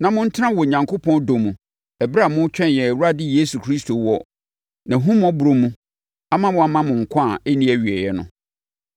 na montena Onyankopɔn dɔ mu ɛberɛ a moretwɛn yɛn Awurade Yesu Kristo wɔ nʼahummɔborɔ mu ama wama mo nkwa a ɛnni awieeɛ no.